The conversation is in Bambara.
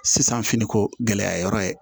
Sisan finiko gɛlɛya yɔrɔ ye